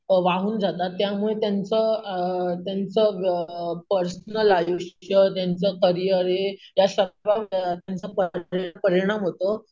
वाहून जातात अम त्यामुळे त्यांचं अम त्यांचं अम पर्सनल आयुष्य त्यांचं करियर हे या त्याचा परिणाम होतो.